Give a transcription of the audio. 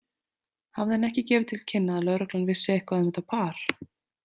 Hafði hann ekki gefið til kynna að lögreglan vissi eitthvað um þetta par?